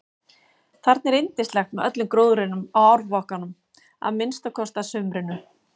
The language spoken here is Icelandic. Þarna er yndislegt með öllum gróðrinum á árbakkanum að minnsta kosti að sumrinu.